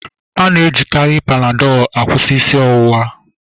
A na-ejikarị Panadol kwụsị isi ọwụwa